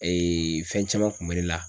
fɛn caman kun bɛ ne la.